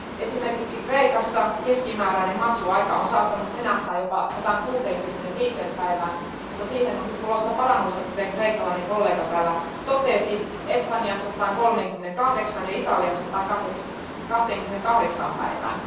Esimerkiksi Kreikassa keskimääräinen maksuaika on saattanut venähtää jopa 165 päivään mutta siihen on nyt tulossa parannusta, kuten kreikkalainen kollega täällä totesi ja Espanjassa 138 ja Italiassa 128 päivään.